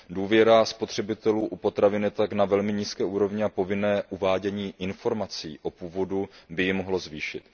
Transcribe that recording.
Důvěra spotřebitelů u potravin je tak na velmi nízké úrovni a povinné uvádění informací o původu by ji mohlo zvýšit.